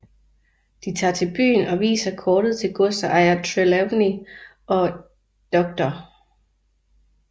De tager til byen og viser kortet til godsejer Trelawney og dr